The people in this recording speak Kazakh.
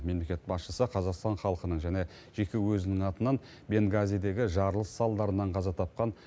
мемлекет басшысы қазақстан халқының және жеке өзінің атынан бенгазидегі жарылыс салдарынан қаза тапқан